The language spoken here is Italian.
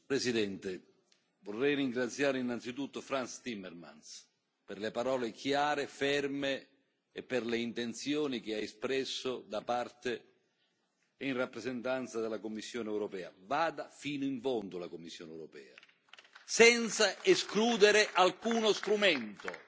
Signor Presidente, onorevoli colleghi, vorrei ringraziare innanzitutto Frans Timmermans per le parole chiare e ferme e per le intenzioni che ha espresso da parte e in rappresentanza della Commissione europea. Vada fino in fondo la Commissione europea, senza escludere alcuno strumento e,